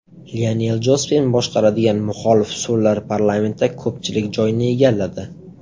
Lionel Jospin boshqaradigan muxolif so‘llar parlamentda ko‘pchilik joyni egalladi.